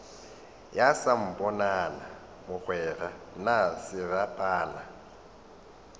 ya samponana mogwera na serapana